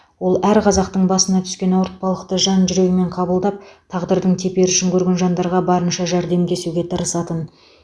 ол әр қазақтың басына түскен ауыртпалықты жан жүрегімен қабылдап тағдырдың теперішін көрген жандарға барынша жәрдемдесуге тырысатын